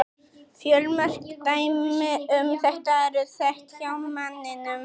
Fjölmörg dæmi um þetta eru þekkt hjá manninum.